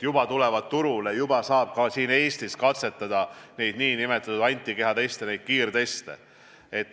Juba tulevad turule ja juba saab ka siin Eestis katsetada nn antikehateste, neid kiirteste.